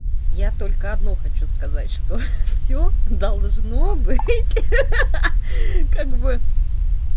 я только одно хочу сказать что всё ха-ха должно быть ха-ха как бы